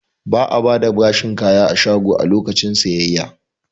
Ba'a bada bashin kaya a shago a lokacin sayayya